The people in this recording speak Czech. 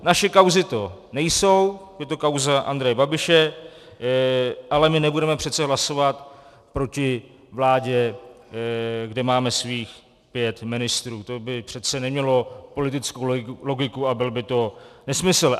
Naše kauzy to nejsou, je to kauza Andreje Babiše, ale my nebudeme přece hlasovat proti vládě, kde máme svých pět ministrů, to by přece nemělo politickou logiku a byl by to nesmysl.